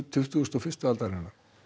tuttugustu og fyrstu aldarinnar